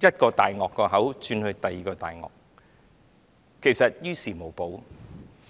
一個"大鱷"的口中轉到另一個"大鱷"，其實於事無補。